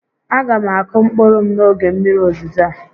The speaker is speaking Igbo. A ga m akụ mkpụrụ m n'oge mmiri ozizo a